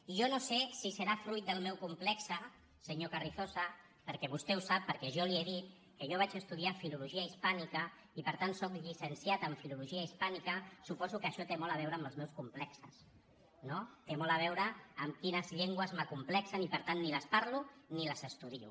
i jo no sé si serà fruit del meu complex senyor carrizosa perquè vostè sap perquè jo li ho he dit que jo vaig estudiar filologia hispànica i per tant sóc llicenciat en filologia hispànica suposo que això té molt a veure amb els meus complexos no té molt a veure amb quines llengües m’acomplexen i per tant ni les parlo ni les estudio